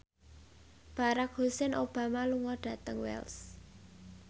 Barack Hussein Obama lunga dhateng Wells